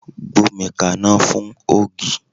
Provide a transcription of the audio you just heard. Gbómi kaná fún ògì!